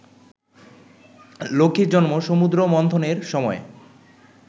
লক্ষ্মীর জন্ম সমুদ্র মন্থনের সময়